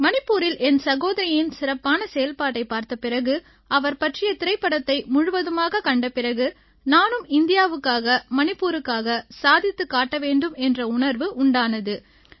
மணிப்பூரில் என் சகோதரியின் சிறப்பான செயல்பாட்டைப் பார்த்த பிறகு அவர் பற்றிய திரைப்படத்தை முழுவதுமாகக் கண்ட பிறகு நானும் இந்தியாவுக்காக மணிப்பூருக்காக சாதித்துக் காட்ட வேண்டும் என்ற உணர்வு உண்டானது